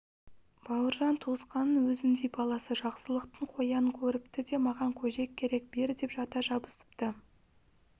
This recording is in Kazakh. бауыржан туысқанының өзіндей баласы жақсылықтың қоянын көріпті де маған көжек керек бер деп жата жабысыпты